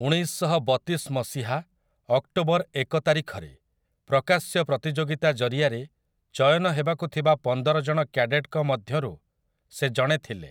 ଉଣେଇଶଶହବତିଶ ମସିହା, ଅକ୍ଟୋବର ଏକ ତାରିଖରେ, ପ୍ରକାଶ୍ୟ ପ୍ରତିଯୋଗିତା ଜରିଆରେ ଚୟନ ହେବାକୁ ଥିବା ପନ୍ଦର ଜଣ କ୍ୟାଡେଟ୍‌ଙ୍କ ମଧ୍ୟରୁ ସେ ଜଣେ ଥିଲେ ।